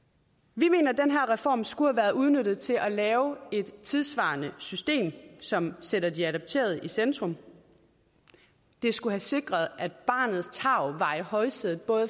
vi mener at den her reform skulle have været udnyttet til at lave et tidssvarende system som sætter de adopterede i centrum det skulle have sikret at barnets tarv var i højsædet både